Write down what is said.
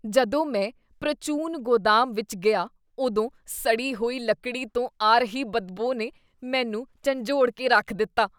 ਜਦੋਂ ਮੈਂ ਪ੍ਰਚੂਨ ਗੋਦਾਮ ਵਿੱਚ ਗਿਆ ਉਦੋਂ ਸੜੀ ਹੋਈ ਲੱਕੜੀ ਤੋਂ ਆ ਰਹੀ ਬਦਬੂ ਨੇ ਮੈਨੂੰ ਝੰਜੋੜ ਕੇ ਰੱਖ ਦਿੱਤਾ।